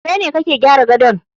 Kai ne kake gyara gadon